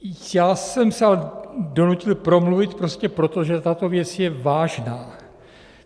Já jsem se ale donutil promluvit prostě proto, že tato věc je vážná.